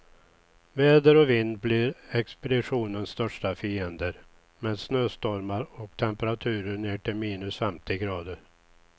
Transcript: Väder och vind blir expeditionens största fiender, med snöstormar och temperaturer ner till minus femtio grader.